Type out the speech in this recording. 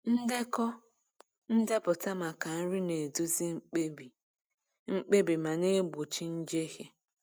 Ndekọ ndepụta maka nri na-eduzi mkpebi mkpebi ma na-egbochi njehie.